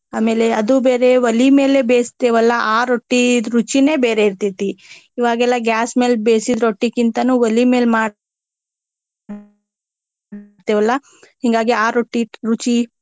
ಆಮೇಲೆ ಅದು ಬೇರೆ ಒಲಿ ಮೇಲೆ ಬೇಯಿಸ್ತೇವೆಲ್ಲ ಆ ರೊಟ್ಟಿ ರುಚಿನೆ ಬೇರೆ ಇರ್ತೆತಿ. ಈವಾಗೆಲ್ಲಾ gas ಮ್ಯಾಲ ಬೇಸಿದ ರೊಟ್ಟಿಕ್ಕಿಂತಾನು ಒಲಿ ಮೇಲ ಮಾಡ್ತೇವಲಾ ಹಿಂಗಾಗಿ ಆ ರೊಟ್ಟಿ ರುಚಿ.